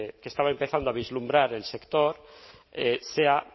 que estaba empezando a vislumbrar el sector sea